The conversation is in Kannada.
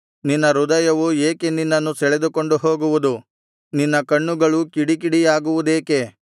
ನಿನ್ನ ಹೃದಯವು ಏಕೆ ನಿನ್ನನ್ನು ಸೆಳೆದುಕೊಂಡು ಹೋಗುವುದು ನಿನ್ನ ಕಣ್ಣುಗಳು ಕಿಡಿಕಿಡಿಯಾಗುವುದೇಕೆ